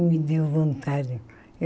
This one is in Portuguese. Me deu vontade.